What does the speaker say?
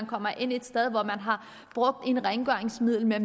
kommer ind et sted hvor man har brugt et rengøringsmiddel med